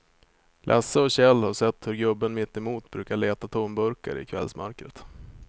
Lasse och Kjell har sett hur gubben mittemot brukar leta tomburkar i kvällsmörkret.